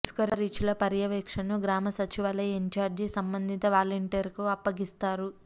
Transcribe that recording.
ఇసుక రీచ్ల పర్యవేక్షణను గ్రామ సచివాలయ ఇన్చార్జి సంబంధిత వలంటీర్కు అప్పగిస్తారు